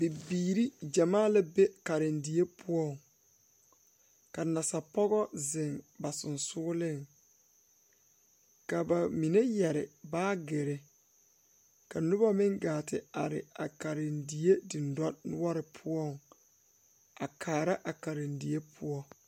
Bibiire gyamaa la be karendie poɔŋ ka nasapɔgɔ zeŋ ba sensugliŋ ka ba mine yɛre baagyirre ka nobɔ meŋ gaa te are a karendie dendɔnoɔre poɔ a kaara a karendie poɔ.